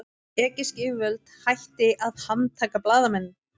Egypsk yfirvöld hætti að handtaka blaðamenn